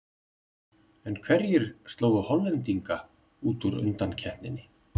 En hverjir slógu Hollendinga út úr undankeppninni?